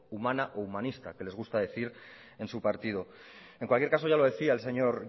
humana o humanista que le gusta decir en su partido en cualquier caso ya lo decía el señor